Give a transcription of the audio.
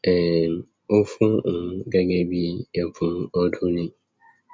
um ó fún òun gẹgẹ bíi ẹbùn ọdún ni